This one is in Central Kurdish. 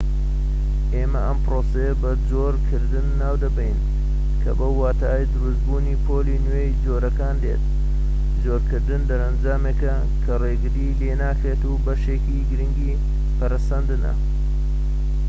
ئێمە ئەم پرۆسەیە بە جۆرکردن ناو دەبەین کە بەو واتای دروست بوونی پۆلی نوێی جۆرەکان دێت جۆرکردن دەرەنجامیێکە کە ڕێگری لێ ناکرێت و بەشێکی گرنگی پەرەسەندنە